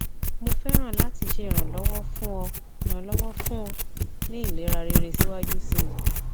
mo fẹràn lati ṣe iranlọwọ fun ọ iranlọwọ fun ọ ni ilera rere siwaju sii